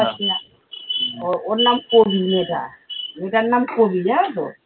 ও ওর নাম কবি মেয়েটা মেয়েটার নাম কবি জানতো?